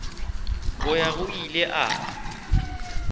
go ya go ile a